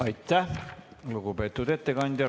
Aitäh, lugupeetud ettekandja!